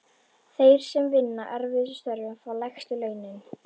Þeir sem vinna erfiðustu störfin fá lægstu launin.